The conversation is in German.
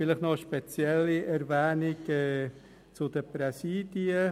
Zunächst noch eine spezielle Erwähnung zu den Präsidien: